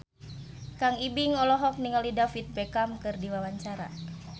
Kang Ibing olohok ningali David Beckham keur diwawancara